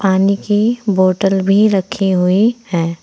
पानी बोतल भी रखी हुई हैं।